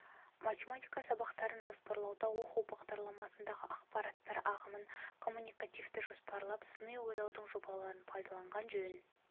математика сабақтарын жоспарлауда оқу бағдарламасындағы ақпараттар ағымын коммуникативті жоспарлап сыни ойлаудың жобаларын пайдаланған жөн